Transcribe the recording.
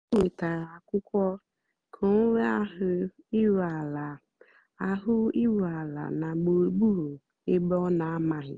ó wètárá ákwụ́kwọ́ kà ọ́ nwée áhụ̀ írú àlà áhụ̀ írú àlà nà gbúrúgbúrú ébé ọ́ nà-àmághị́.